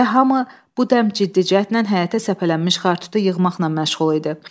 Və hamı bu dəm ciddi cəhətdən həyətə səpələnmiş xartutu yığmaqla məşğul idi.